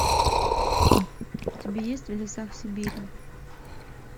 у тебя есть в лесах сибири